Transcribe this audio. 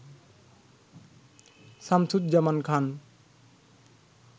Shamsuzzaman Khan.